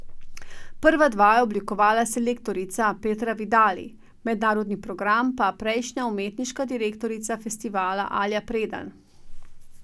Prva dva je oblikovala selektorica Petra Vidali, mednarodni program pa prejšnja umetniška direktorica festivala Alja Predan.